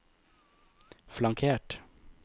flankert